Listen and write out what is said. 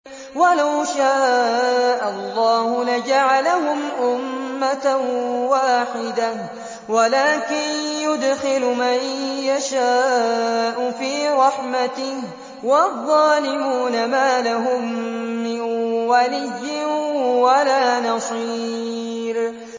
وَلَوْ شَاءَ اللَّهُ لَجَعَلَهُمْ أُمَّةً وَاحِدَةً وَلَٰكِن يُدْخِلُ مَن يَشَاءُ فِي رَحْمَتِهِ ۚ وَالظَّالِمُونَ مَا لَهُم مِّن وَلِيٍّ وَلَا نَصِيرٍ